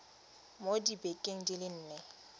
mo dibekeng di le nne